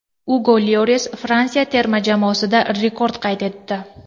Ugo Lyoris Fransiya terma jamoasida rekord qayd etdi.